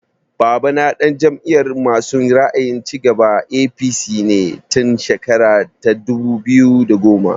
Babana ɗan Jam'iyar masu ra'ayin cigaba (APC) ne tun shekara ta dubu biyu da goma